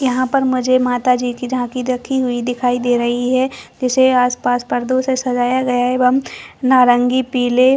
यहाँ पर मुझे माता जी झांकी रखी हुई दिखाई दे रही है जिसे आसपास पर्दो से सजाया गया है एवं नारंगी पिले --